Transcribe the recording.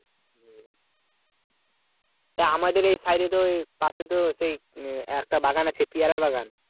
তা আমাদের এই সাইডে তো পাশে তো সেই একটা বাগান আছে পেয়ারার বাগান